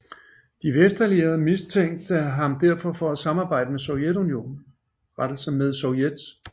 De vestallierede mistænkte ham derfor for at samarbejde med Sovjet